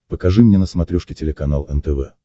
покажи мне на смотрешке телеканал нтв